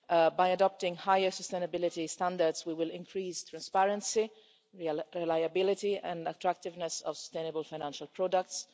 By adopting higher sustainability standards, we will increase the transparency, reliability and attractiveness of sustainable financial products.